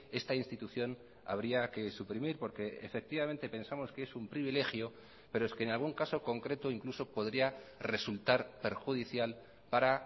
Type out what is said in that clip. esta institución habría que suprimir porque efectivamente pensamos que es un privilegio pero es que en algún caso concreto incluso podría resultar perjudicial para